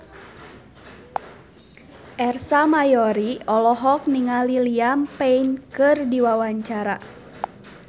Ersa Mayori olohok ningali Liam Payne keur diwawancara